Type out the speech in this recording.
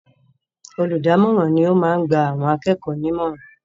Olùdámọ̀ràn ni ó máa ń gba àwọn akẹ́kọ̀ọ́ nímọ̀ràn.